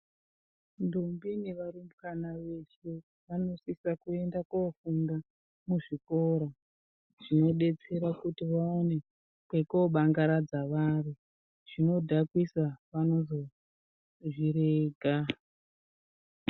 Ntombi nevarumbwana veshe vanosise kuenda kofunde muzvikora zvinodetsera kuti vange vane kwekobangaradza vari zvinodhakwisa vazozvirega.